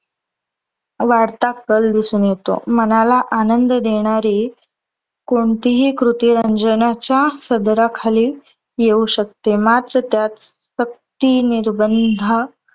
वाढता कल दिसून येतो. मनाला आनंद देणारी कोणतीही कृती रंजनाच्या सदरा खाली येऊ शकते. मात्र त्यात सक्ती निर्बंधा